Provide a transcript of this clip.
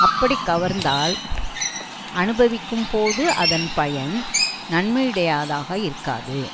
அப்படிக் கவர்ந்ததால் அனுபவிக்கும்போது அதன் பயன் நன்மையுடையதாக இருக்காது